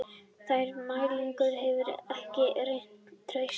Þær mælingar hefðu ekki reynst traustar